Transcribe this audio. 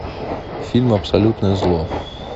фильм абсолютное зло